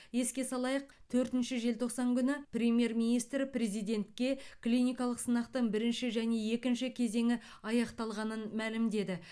еске салайық төртінші желтоқсан күні премьер министр президентке клиникалық сынақтың бірінші және екінші кезеңі аяқталғанын мәлімдеді